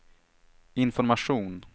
information